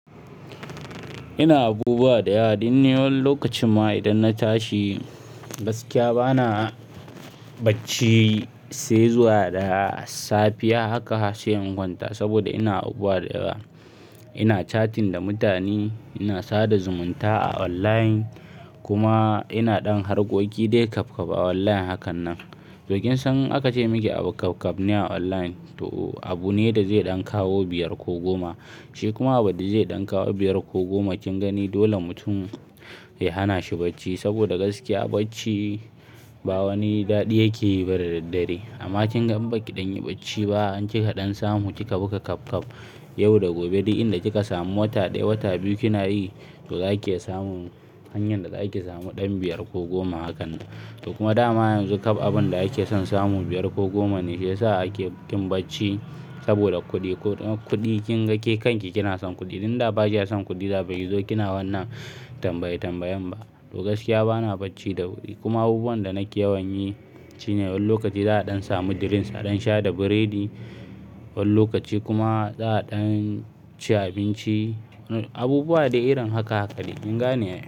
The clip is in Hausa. Ina abubuwa ɗayawa, ɗan ni wani lokacin ma idan na tashi gaskiya ba na bacci sai zuwa da safiya. Haka se in kwanta saboda ina abubuwa ɗayawa. Ina chatting da mutane, ina sada zumunta a online kuma ina ɗan harkoki dai kap-kap a online hakan nan. To kin san aka ce miki a kap-kap ne a online, to abu ne da zai ɗan kawo biyar ko goma. Shi kuma abin da zai ɗan kawo biyar ko goma kin gani dole mutum ya hana shi bacci saboda gaskiya bacci ba wani daɗi yake yi ba da daddare. Amma kinga in baki ɗan yi bacci ba, in kika ɗan samu kika buga kap-kap yau da gobe. Duk inda kika samu wata ɗaya, wata biyu kina yi, to zaki samu hanyar da zaki samu ɗan biyar ko goma hakan nan. To kuma dama yanzu kap abin da yake son samu biyar ko goma ne shiyasa ake kin bacci saboda kuɗi. Kuɗi kinga ke kanki kina son kuɗi. Inda ba ki ya son kuɗi da baki zo kina wannan tambaye tambayen ba. To gaskiya ba na bacci da wuri kuma abubuwan da nake yawan yi shine wani lokaci za'a ɗan samu drinks a ɗan sha da biredi, wani lokaci kuma za'a ɗan ci abinci. Abubuwa dai irin haka haka de. Kin gane ai?